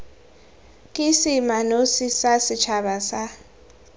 ke seemanosi sa setšhaba sa